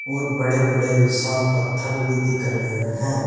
और बड़े बड़े विशाल पत्थर भी दिख रहे है।